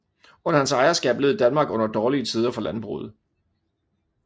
Under hans ejerskab led Danmark under dårlige tider for landbruget